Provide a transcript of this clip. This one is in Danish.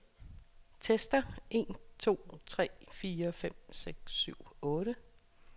Tester en to tre fire fem seks syv otte.